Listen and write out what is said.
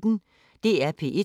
DR P1